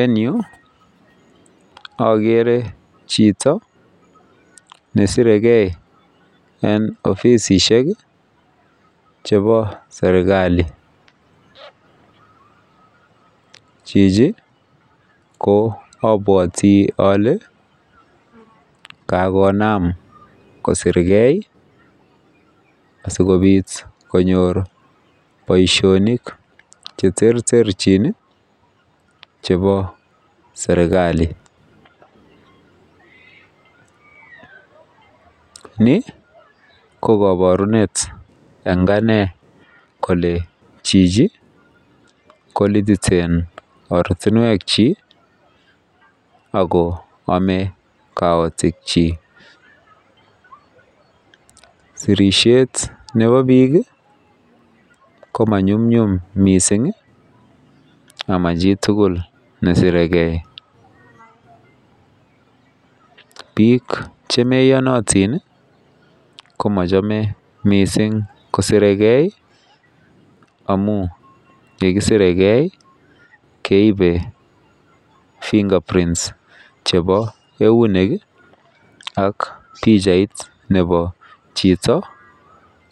Eng yuu ogere chito nesirege eng obisisiek iih chebo serkali, chichi ko obwoti ole Kakonam kosirge sikobit konyor boisionik cheterterjin iih chebo serkali. Ni ko kaborunet eng ane kole chichi kolititen ortinwekyik ago ome kaotikyik sirisyet nebo bik iih ko manyumyum mising iih ama chitugul nesiregen bik chemo iyonotin iih komochome mising kosiregei amun yekisiregei iih keibe [fingerprint] chebo eunek ak pichait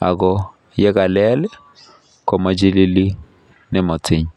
ago yekalel iih komochilili nematin.